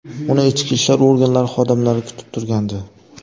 Uni ichki ishlar organlari xodimlari kutib turgandi.